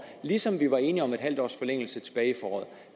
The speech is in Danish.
ligesom vi var enige om en halv års forlængelse tilbage i foråret